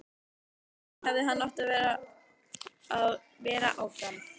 Af hverju í ósköpunum hefði hann átt að vera áfram?